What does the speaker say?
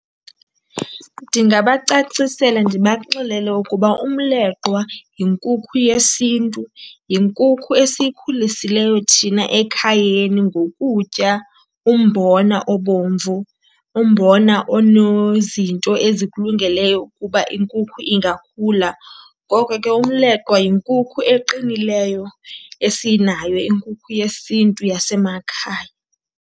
Ndingabacacisela ndibaxelele ukuba umleqwa yinkukhu yesiNtu, yinkukhu esiyikhulisileyo thina ekhayeni ngokutya umbona obomvu, umbona zinto ezikulungeleyo ukuba inkukhu ingakhula. Ngoko ke umleqwa yinkukhu eqinileyo esinayo, inkukhu yesiNtu yasemakhaya.